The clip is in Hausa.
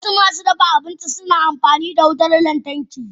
Wasu masu dafa abinci suna aiki da wutar lantarki.